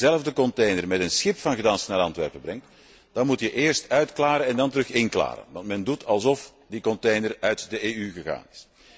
Als je diezelfde container met een schip van Gdansk naar Antwerpen brengt, dan moet je eerst uitklaren en dan weer inklaren, want men doet alsof die container uit de EU gegaan is.